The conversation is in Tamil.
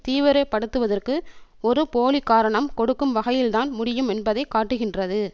தீவிரப்படுத்துவதற்கு ஒரு போலி காரணம் கொடுக்கும் வகையில்தான் முடியும் என்பதை காட்டுகின்றது